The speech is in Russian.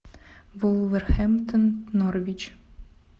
вулверхэмптон норвич